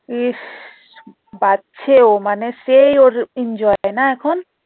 ইস বাঁচছে ও মানে সেই ও enjoy টা না এখন?